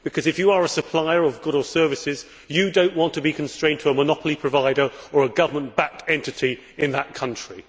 If you are a supplier of goods or services, you do not want to be constrained to a monopoly provider or a government backed entity in that country.